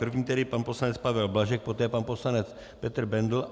První tedy pan poslanec Pavel Blažek, poté pan poslanec Petr Bendl.